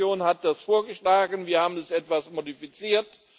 Die Kommission hat das vorgeschlagen, wir haben es etwas modifiziert.